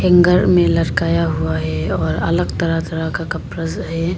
Hanger में लटकाया हुआ है और अलग तरह तरह का कपड़ा सा है।